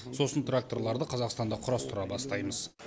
сосын тракторларды қазақстанда құрастыра бастаймыз